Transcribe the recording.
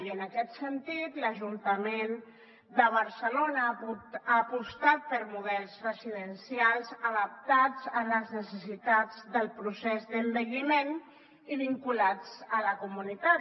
i en aquest sentit l’ajuntament de barcelona ha apostat per models residencials adaptats a les necessitats del procés d’envelliment i vinculats a la comunitat